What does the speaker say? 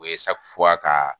O ye ka